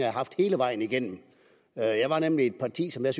har haft hele vejen igennem jeg var nemlig i et parti som jeg